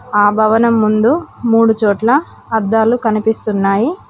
ఆ భవనం ముందు మూడుచోట్ల అద్దాలు కనిపిస్తున్నాయి.